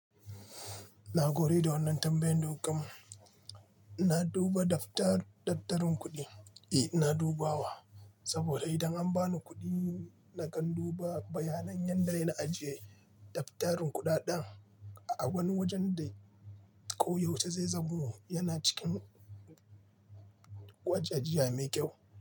Na gode da wannan tambayan da kuka mun na duba daftarin kuɗi. Eh, ina dubawa saboda idan an ba ni kuɗi, nakan duba bayanan yadda yana ajiye daftarin kuɗaɗen a wani wajen da ko yaushe zai zamo yana cikin waje jiya mai kyau.